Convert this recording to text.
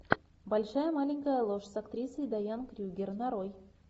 большая маленькая ложь с актрисой дайан крюгер нарой